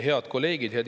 Head kolleegid!